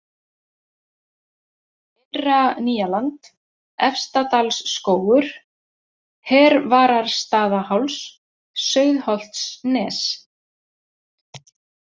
Innra-Nýjaland, Efstadalsskógur, Hervararstaðaháls, Sauðholtsnes